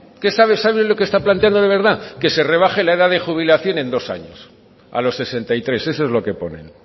saben lo que estaban planteando de verdad que se rebaje la edad de jubilación en dos años a los sesenta y tres eso es lo que ponen